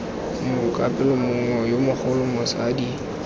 mokapelo ngwana yo mogolo motsadi